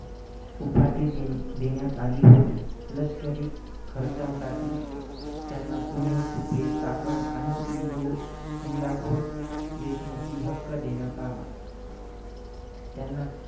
उपाधी दे~ देण्यात आली होती. लष्करी खर्चासाठी त्यांना पुणे, सुपे, चाकण आणि इंदु~ इंदापूर देशमुखी हक्क देण्यात आला. त्यांना